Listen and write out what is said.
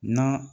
Na